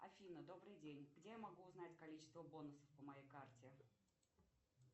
афина добрый день где я могу узнать количество бонусов по моей карте